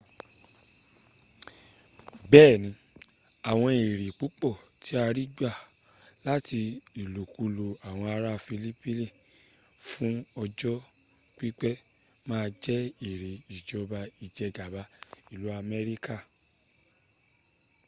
beeni awon ere pupo ti a rigba lati ilokulo awon ara filipini fun ojo pipe maa je ere ijoba ijegaba ilu amerika